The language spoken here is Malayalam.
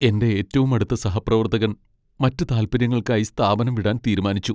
എന്റെ ഏറ്റവും അടുത്ത സഹപ്രവർത്തകൻ മറ്റ് താൽപ്പര്യങ്ങൾക്കായി സ്ഥാപനം വിടാൻ തീരുമാനിച്ചു.